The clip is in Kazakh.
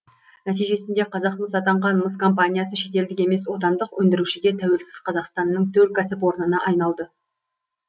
нәтижесінде қазақмыс атанған мыс компаниясы шетелдік емес отандық өндірушіге тәуелсіз қазақстанның төл кәсіпорнына айналды